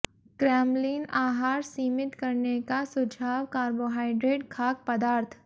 Kremlin आहार सीमित करने का सुझाव कार्बोहाइड्रेट खाद्य पदार्थ